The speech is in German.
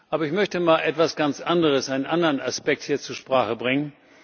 Aber ich möchte mal etwas ganz anderes, einen anderen Aspekt hier zur Sprache bringen.